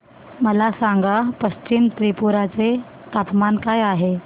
मला सांगा पश्चिम त्रिपुरा चे तापमान काय आहे